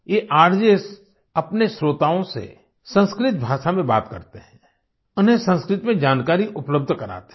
ये आरजेएस अपने श्रोताओं से संस्कृत भाषा में बात करते हैं उन्हें संस्कृत में जानकारी उपलब्ध कराते हैं